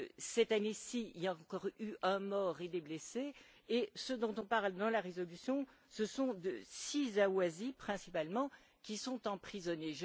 Cette année ci, il y a encore eu un mort et des blessés et ceux dont on parle dans la résolution, ce sont 6 Ahwazis principalement, qui sont emprisonnés.